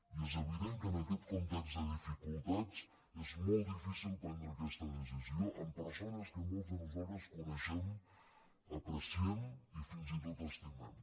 i és evident que en aquest context de dificultats és molt difícil prendre aquesta decisió amb persones que molts de nosaltres coneixem apreciem i fins i tot estimem